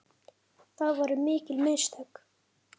Það voru mikil mistök.